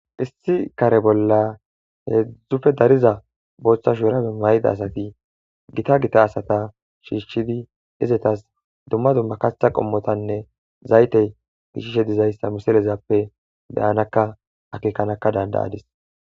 issi kare bolla heedzdzuppe dariiza booththa shu urabe mayda asati gitta gitta asatta shiishshidi izetas dumma dumma kaththa qommotanne zaytey gishishishe dizayssa miselezappe beyanakka akekanakka dandayadis